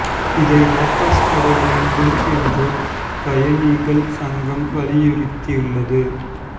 இதை வாபஸ் பெற வேண்டும் என்று பயணிகள் சங்கம் வலியுறுத்தியுள்ளது